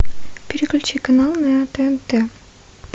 переключи канал на тнт